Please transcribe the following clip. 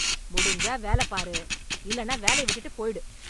முடிஞ்சா வேல பாரு, இல்லன்னா வேலைய விட்டுட்டு போயிடு.